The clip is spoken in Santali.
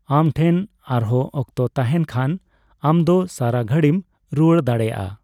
ᱟᱢ ᱴᱷᱮᱱ ᱟᱨᱦᱚᱸ ᱚᱠᱛᱚ ᱛᱟᱸᱦᱮᱱ ᱠᱷᱟᱱ ᱟᱢ ᱫᱚ ᱥᱟᱨᱟ ᱜᱷᱟᱹᱲᱤᱢ ᱨᱩᱣᱟᱹᱲ ᱫᱟᱲᱮᱹᱭᱟᱜᱼᱟ ᱾